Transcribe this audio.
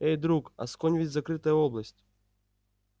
эй друг асконь ведь закрытая область